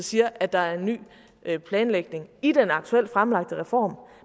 siger at der er en ny planlægning i den aktuelt fremlagte reform